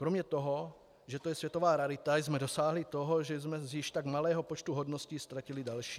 Kromě toho, že to je světová rarita, jsme dosáhli toho, že jsme z již tak malého počtu hodností ztratili další.